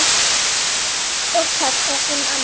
Og tekst það sem annað.